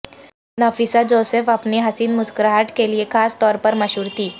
Nafisa Joseph اپنی حسین مسکراہٹ کے لیے خاص طور پر مشہور تھیں